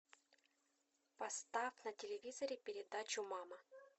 поставь на телевизоре передачу мама